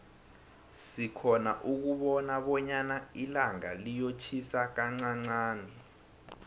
sikhona ukubona bonyana ilanga liyotjhisa kanqanqani